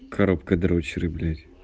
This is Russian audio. коробка дрочеры